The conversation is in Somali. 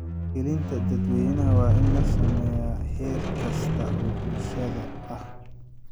Wacyigelinta dadweynaha waa in la sameeyaa heer kasta oo bulshada ah.